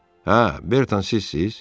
Hə, Berton, sizsiz?